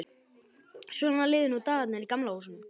Svona liðu nú dagarnir í Gamla húsinu.